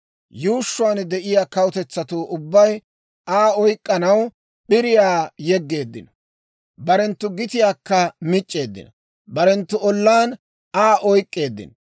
Yuushshuwaan de'iyaa kawutetsatuu ubbay, Aa oyk'k'anaw p'iriyaa yeggeeddino. Barenttu gitiyaakka mic'c'eeddino; barenttu ollaan Aa oyk'k'eeddino.